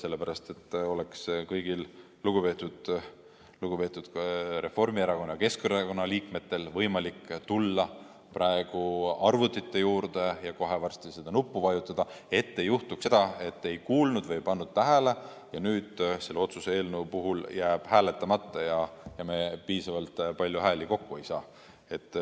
Sellepärast, et oleks kõigil, ka lugupeetud Reformierakonna ja Keskerakonna liikmetel võimalik tulla praegu arvutite juurde ja kohe varsti seda nuppu vajutada, et ei juhtuks seda, et keegi ei kuulnud või ei pannud tähele ja nüüd selle otsuse eelnõu puhul jääb kellelgi hääletamata ja me ei saa piisavalt palju hääli kokku.